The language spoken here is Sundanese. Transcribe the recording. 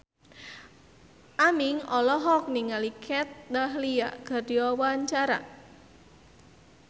Aming olohok ningali Kat Dahlia keur diwawancara